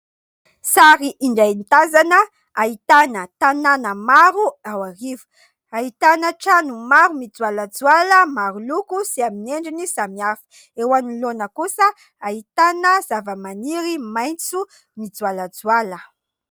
Sary indray mitazana ahitana tanàna maro ao Iarivo. Ahitana trano maro mijoalajoala maro loko sy amin'ny endriny samihafa. Eo anoloana kosa ahitana zava-maniry maitso mijoalajoala.